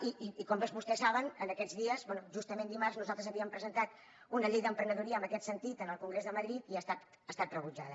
i com tots vostès saben aquests dies justament dimarts nosaltres havíem presentat una llei d’emprenedoria en aquest sentit al congrés de madrid i ha estat rebutjada